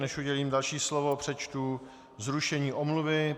Než udělím další slovo, přečtu zrušení omluvy.